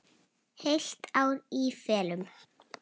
Heilt ár í felum.